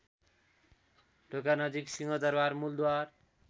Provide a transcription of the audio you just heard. ढोकानजिक Singha Durbar मूलद्वार